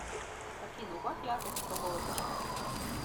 афина убавь яркость в столовой пожалуйста